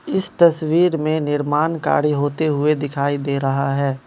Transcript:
इस तस्वीर में निर्माण कार्य होते हुए दिखाई दे रहा है।